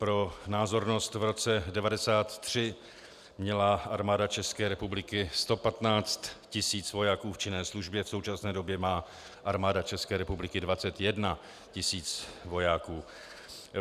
Pro názornost, v roce 1993 měla Armáda České republiky 115 tis. vojáků v činné službě, v současné době má Armáda České republiky 21 tis. vojáků.